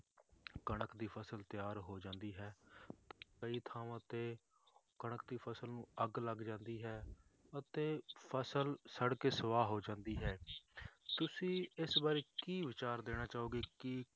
ਕਣਕ ਦੀ ਫਸਲ ਤਿਆਰ ਹੋ ਜਾਂਦੀ ਹੈ ਕਈ ਥਾਵਾਂ ਤੇ ਕਣਕ ਦੀ ਫਸਲ ਨੂੰ ਅੱਗ ਲੱਗ ਜਾਂਦੀ ਹੈ ਅਤੇ ਫਸਲ ਸੜ ਕੇ ਸਵਾਹ ਹੋ ਜਾਂਦੀ ਹੈ ਤੁਸੀਂ ਇਸ ਬਾਰੇ ਕੀ ਵਿਚਾਰ ਦੇਣਾ ਚਾਹੋਗੇ ਕਿ